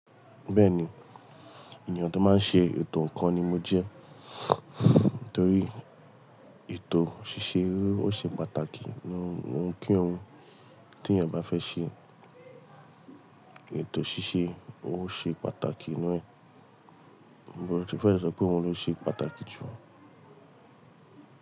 Bẹ́ẹ̀ni, ènìyàn tó máa ń ṣe ètò ǹkan ni mo jẹ́. Nítorí ètò ṣíṣe ó ṣe pàtàkì nínú ohun kí ohun tí èèyàn bá fẹ́ ṣe, ètò ṣíṣe ó ṣe pàtàkì nínú ẹ̀. Mo ti fẹ́ sọ pé òun ló ṣe pàtàkì jù.